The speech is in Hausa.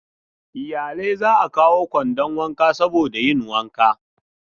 Iyalai za a kawo kwandon wanka saboda yin wanka.